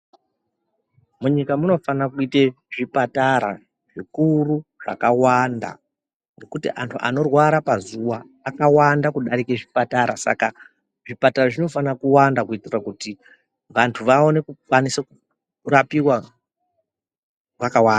Munyika munofana kuite zvipatara zvikuru zvakawanda ngekuti antu anorwara pazuwa akawanda kudarika zvipatara saka zvipatara zvinofana kuwanda kuitire kuti vantu vaone kukwanise kurapiwa vakawanda.